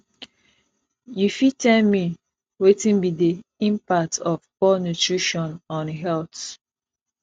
you fit tell me wetin be di impact of poor nutrition on health